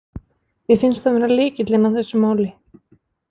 Mér finnst hann vera lykillinn að þessu máli.